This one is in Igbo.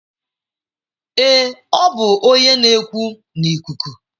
Ee, ọ bụ onye na-ekwu n'ikuku.